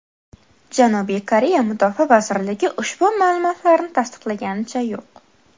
Janubiy Koreya mudofaa vazirligi ushbu ma’lumotlarni tasdiqlaganicha yo‘q.